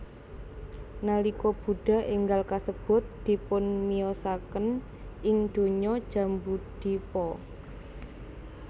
Nalika Buddha énggal kasebut dipunmiyosaken ing donya Jambudvipa